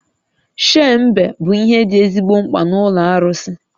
Shei mbe bụ ihe dị ezigbo mkpa n'ụlọ arụsị